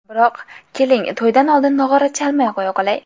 Biroq, keling, to‘ydan oldin nog‘ora chalmay qo‘ya qolay.